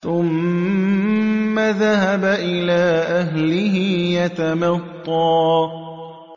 ثُمَّ ذَهَبَ إِلَىٰ أَهْلِهِ يَتَمَطَّىٰ